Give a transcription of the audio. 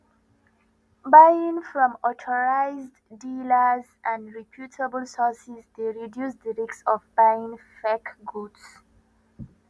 buying from authorized dealers and reputable sources dey reduce di risk of buying fake goods